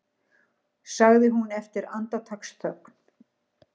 sagði hún eftir andartaksþögn.